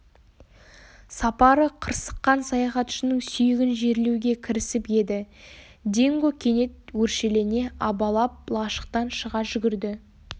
сапары қырсыққан саяхатшының сүйегін жерлеуге кірісіп еді динго кенет өршелене абалап лашықтан шыға жүгірді